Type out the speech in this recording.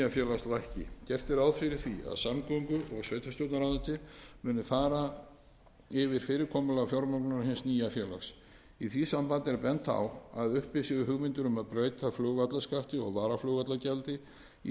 lækki gert er ráð fyrir því að samgöngu og sveitarstjórnarráðuneytið muni fara yfir fyrirkomulag fjármögnunar hins nýja félags í því sambandi er bent á að uppi séu hugmyndir um að breyta flugvallarskatti og varaflugvallargjaldi í